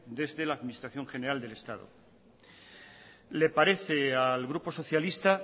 desde la administración general del estado le parece al grupo socialista